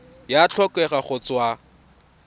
e a tlhokega go tswa